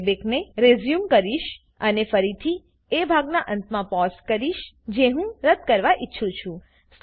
હું પ્લેબેકને રેઝ્યુમ કરીશ અને ફરીથી એ ભાગનાં અંતમાં પોઝ કરીશ જે હું રદ્દ કરવા ઈચ્છું છું